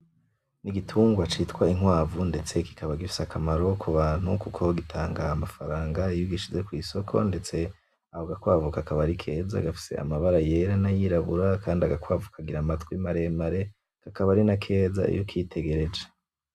Igitungwa citwa inkwavu ndetse kikaba gifise akamaro kubantu kuko gitanga amafaranga iyo ugishize kwisoko ndetse ako gakwavu kakaba arikeza gafise amabara yera nayirabura kandi agakwavu kagira amatwi maremare kakaba arinakeza iyo ukitegereje.